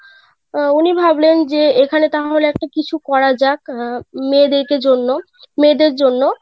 অ্যাঁ উনি ভাবলেন যে এখানে তাহলে একটা কিছু করা যাকআহ মেয়েদেরকে জন্য মেয়েদের জন্য.